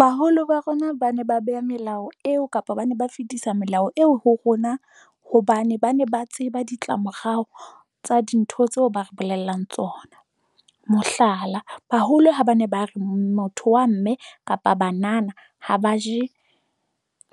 Baholo ba rona ba ne ba beha melao eo kapa ba ne ba fetisa melao eo ho rona hobane ba ne ba tseba ditlamorao tsa dintho tseo ba re bolellang tsona. Mohlala, baholo ha ba ne ba re motho wa mme kapa banana ha ba je